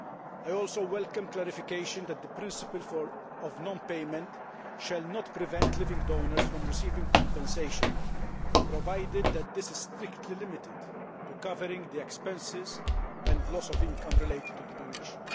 I also welcome clarification that the principle of non payment shall not prevent living donors from receiving compensation, provided that this is strictly limited to covering the expenses and loss of income related to the donation.